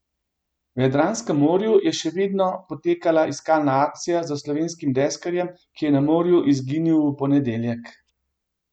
V Jadranskem morju še vedno poteka iskalna akcija za slovenskim deskarjem, ki je na morju izginil v ponedeljek.